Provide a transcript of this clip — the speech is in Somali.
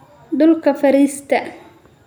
Dhulka fariista